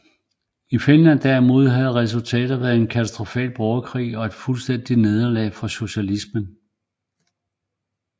I Finland derimod havde resultatet været den katastrofale borgerkrig og et fuldstændigt nederlag for socialismen